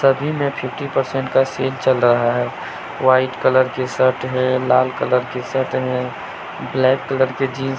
सभी में fifty percent का सेल चल रहा है व्हाइट कलर के शर्ट है लाल कलर की शर्ट हैं ब्लैक कलर के जींस --